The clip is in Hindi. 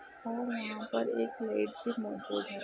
और यहा पर एक रेट भी मोजूद हेै।